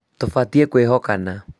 Tũbatiĩ kwĩhokana